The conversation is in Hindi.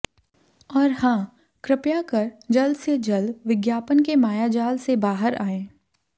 और हाँ कृपया कर जल्द से जल्द विज्ञापन के मायाजाल से बहार आयें